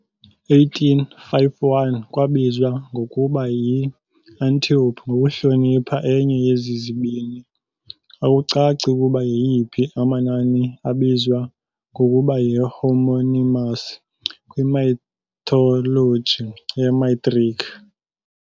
1851 Kwabizwa ngokuba yi-Antiope ngokuhlonipha enye yezi zibini, akucaci ukuba yeyiphi, amanani abizwa ngokuba yi-homonymous kwi -mythology yamaGrike.